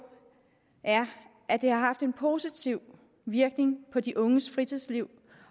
er at det har haft en positiv virkning på de unges fritidsliv